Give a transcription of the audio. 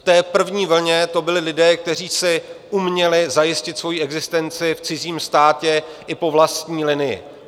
V té první vlně to byli lidé, kteří si uměli zajistit svoji existenci v cizím státě i po vlastní linii.